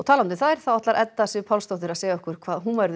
þá ætlar Edda Sif Pálsdóttir að segja okkur hvað verður